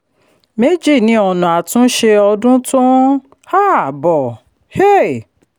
méjì ni ọ̀nà àtúnṣe ọdún tó ń um bọ̀. um